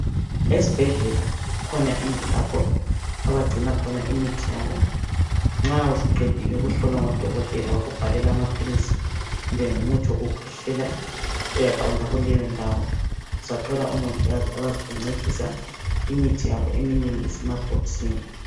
Esbhedlela kukhona indlu lapho abagcina khona imithi yabo. Nxa usuqedile ukuhlolwa ngodokotela , wakubhalela amaphilisi, kumbe ngumuthi wokukhwehlela, uyaqonda kuleyondawo, uzathola omongikazi abazakuncedisa, imithi yabo eminengi isemabhokisini.